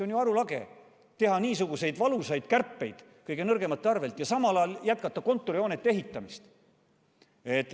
On arulage teha niisuguseid valusaid kärpeid kõige nõrgemate arvel ja samal ajal jätkata kontorihoonete ehitamist.